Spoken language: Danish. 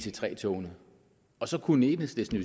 ic3 togene og så kunne enhedslisten